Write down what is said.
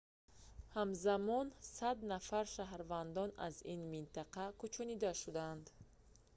ҳамзамон 100 нафар шаҳрвандон аз ин минтақа кӯчонида шудаанд